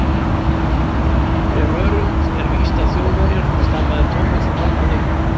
Er öruggt, er víst, að Þjóðverjar? stamaði Thomas og fölnaði upp.